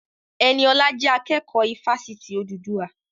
Ẹniọlá jẹ́ akẹ́kọ̀ọ́ ifásitì Odùduwà